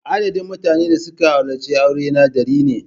Adadin mutanen da suka halarci aurena dari ne.